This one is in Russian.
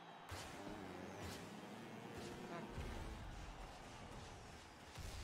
каргополь